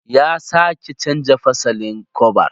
Ya sake canza fasalin kwabar.